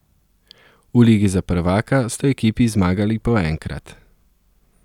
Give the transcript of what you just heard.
V Ligi za prvaka sta ekipi zmagali po enkrat.